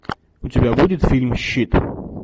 у тебя будет фильм щит